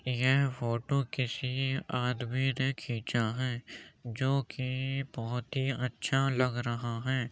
यह फोटो किसी आदमी ने खींचा है जो कि बहोत ही अच्छा लग रहा है।